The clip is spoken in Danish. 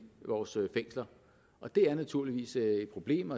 vores fængsler og det er naturligvis et problem